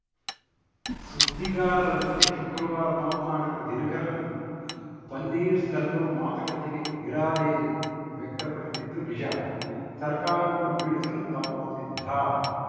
ಸುದ್ದಿಗಾರರ ಜತೆ ಶುಕ್ರವಾರ ಮಾತ್ನಾಡಿದ ದಿನಕರನ್‌ ಪನ್ನೀರ್ ಸೆಲ್ವಂ ಮಾತುಕತೆಗೆ ಇರಾದೆ ವ್ಯಕ್ತಪಡಿಸಿದ್ದು ನಿಜ ಸರ್ಕಾರವನ್ನು ಬೀಳಿಸಲು ತಾವು ಸಿದ್ಧ